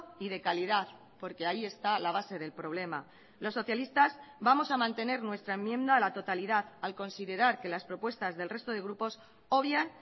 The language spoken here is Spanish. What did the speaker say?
y de calidad porque ahí está la base del problema los socialistas vamos a mantener nuestra enmienda a la totalidad al considerar que las propuestas del resto de grupos obvian